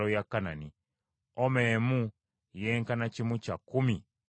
Oma emu yenkana kimu kya kkumi ekya efa.